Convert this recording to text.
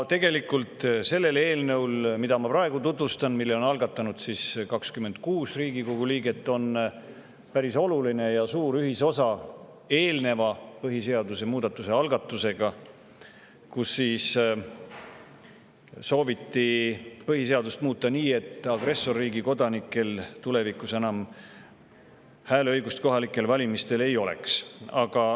Tegelikult on sellel eelnõul, mida ma praegu tutvustan ja mille on algatanud 26 Riigikogu liiget, päris oluline ja suur ühisosa eelnevalt põhiseaduse muudatuse algatusega, kus soovitakse põhiseadust muuta nii, et agressorriigi kodanikel tulevikus kohalikel valimistel hääleõigust enam ei oleks.